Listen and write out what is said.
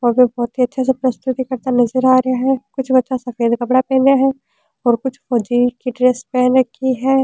और कोई बहुत ही अच्छा सा प्रस्तुति करता नजर आ रेहा है कुछ बच्चा सफ़ेद कपड़ा पहनेया है और कुछ फौजी की ड्रेस